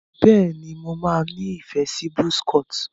bẹ ní mọ má ní ìfẹ sí buzz cut.